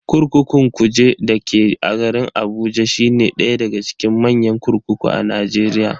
Kurkukun Kuje dake garin Abuja shine daya daga cikin manyan kurkuku a Najeriya.